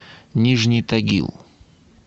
нижний тагил